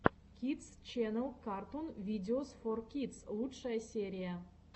кидс ченнел картун видеос фор кидс лучшая серия